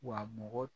Wa mɔgɔ